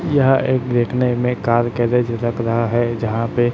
यह एक देखने में कार गैरेज लग रहा है जहां पे--